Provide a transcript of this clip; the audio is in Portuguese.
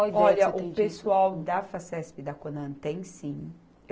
Olha, o pessoal da Facesp e da Conan tem, sim.